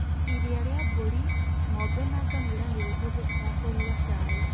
Iria rĩa mburĩ, ng'ombe na ngamĩra nĩ rĩhũthĩkaga kũruga cai.